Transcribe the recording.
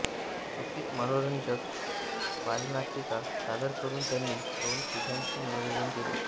सुट्टीत मनोरंजक बालनाटिका सादर करून त्यांनी दोन पिढ्यांचे मनोरंजन केले